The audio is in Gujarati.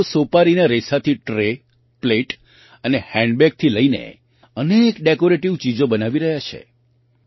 આ લોકો સોપારીના રેસાથી ટ્રે પ્લેટ અને હેન્ડબેગથી લઈને અનેક ડૅકૉરેટિવ ચીજો બનાવી રહ્યાં છે